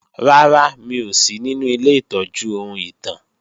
Rárá, mi ò sí ninu ilé ìtọ́jú ohun ìtàn